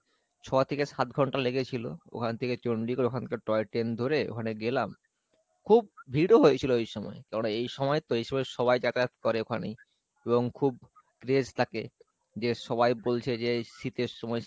ছ থেকে সাত ঘণ্টা লেগেছিলো ওখান থেকে চণ্ডীগড় ওখানকার toy train ধরে ওখানে গেলাম, খুব ভিড় ও হয়েছিলো ওই সময় কেননা এই সময় তো এই সময় সবাই যাতায়াত করে ওখানেই এবং খুব থাকে সবাই বলছে যে, শীতের সময়